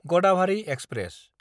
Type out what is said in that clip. Gadabhari express